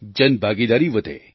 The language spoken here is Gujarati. જનભાગીદારી વધે